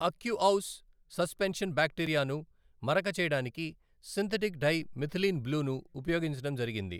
Aqueous suspension బ్యాక్టీరియాను మరక చేయడానికి సింథటిక్ డై మిథిలీన్ బ్లూను ఉపయోగించడం జరిగింది.